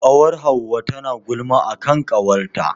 Ƙawar Hauwa tana gulma a kan ƙawarta.